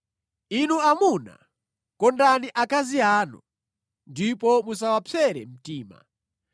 Inu amuna, kondani akazi anu ndipo musawapsere mtima.